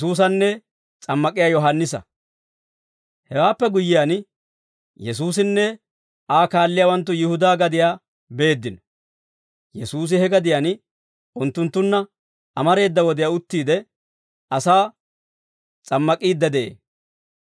Hewaappe guyyiyaan, Yesuusinne Aa kaalliyaawanttu Yihudaa gadiyaa beeddino; Yesuusi he gadiyaan unttunttunna amareeda wodiyaa uttiide, asaa s'ammak'iidde de'ee.